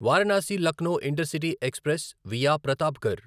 Varanasi Lucknow intercity express via Pratapgarh